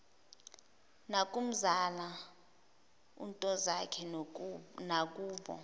nakumzala untozakhe nakubo